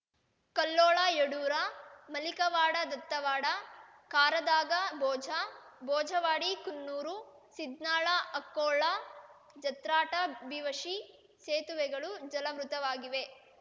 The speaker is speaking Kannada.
ಕಲ್ಲೋಳಯಡೂರ ಮಲಿಕವಾಡದತ್ತವಾಡ ಕಾರದಗಾಭೋಜ ಭೋಜವಾಡಿಕುನ್ನೂರ ಸಿದ್ನಾಳಅಕ್ಕೋಳ ಜತ್ರಾಟಭಿವಶಿ ಸೇತುವೆಗಳು ಜಲವೃತವಾಗಿವೆ